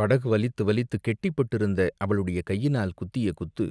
படகு வலித்து வலித்துக் கெட்டிப்பட்டிருந்த அவளுடைய கையினால் குத்திய குத்து